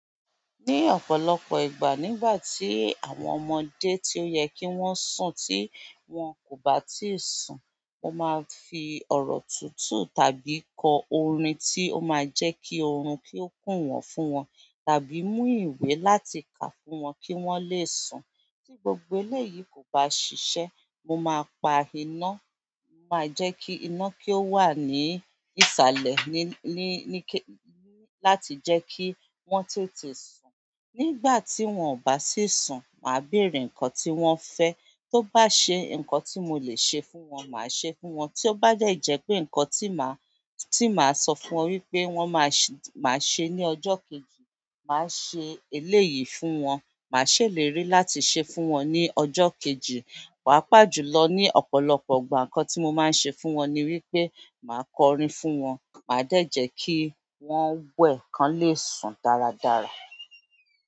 Ní ọ̀pọ̀lọpọ̀ ìgbà nígbà tí àwọn ọmọdé tio yẹ kí wọ́n sùn tí wón kò bá tíì sùn, mo máa ń fi ọ̀rọ̀ tútù tàbí kọ orin tí ó máa ń jẹ́ kí oorun kí ó kùn wọ́n fún wọn tàbí mú ìwé láti kà fún wọn kí wọ́n lè sùn. Tí gbogbo eléyìí kò bá ṣiṣẹ́, mo máa pa iná, máa jẹ́ kí iná kí ó wà ní ìsàlẹ̀ ní, ní, ní kí-- láti jẹ́ kí wọ́n tètè sùn. Nígbà tí wọ́n ò bá sì ń sùn, màá béèrè nǹkan tí wọ́n fẹ́, tó bá ṣe nǹkan tí mo lè ṣe fún wọn, màá ṣe fún wọn. Tió bá de jẹ́ pé nǹkan tí màá, tí màá sọ fún wọn wípé wọ́n máa ṣé, màá ṣe ní ọjọ́ kejì, màá ṣe eléyìí fún wọn, màá ṣèlérí láti ṣe fún wọn ní ọjọ́ kejì. Pàápàá jùlọ ní ọ̀pọ̀lọpọ̀ ìgbà nǹkan tí mo máa ń ṣe fún wọn ni wípé màá kọ orin fún wọn, màá de jẹ́ kí wọ́n wẹ̀ kan lè sùn dáradára.